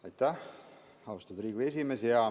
Aitäh, austatud Riigikogu esimees!